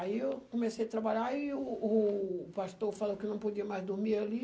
Aí eu comecei a trabalhar e o o pastor falou que eu não podia mais dormir ali.